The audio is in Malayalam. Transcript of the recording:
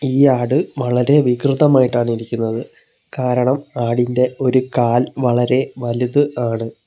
ഈ ആട് വളരെ വികൃതമായിട്ടാണ് ഇരിക്കുന്നത് കാരണം ആടിൻറെ ഒരു കാൽ വളരെ വലുത് ആണ്.